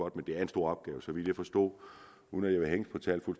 det er en stor opgave så vidt jeg forstod uden at